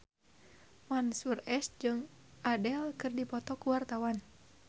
Mansyur S jeung Adele keur dipoto ku wartawan